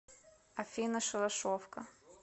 афина шалашовка